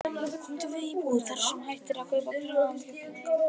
Komdu við í búð þar sem hægt er að kaupa grillaðan kjúkling.